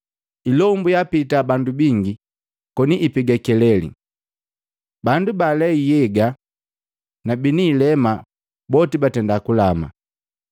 Ilombu yaapita bandu bingi, koni ipega keleli, bandu baalei nhyega na bini ilema boti batenda kulama.